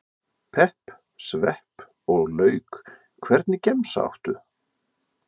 pepp, svepp og lauk Hvernig gemsa áttu?